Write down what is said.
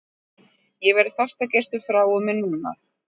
Ég verð fastagestur frá og með núna!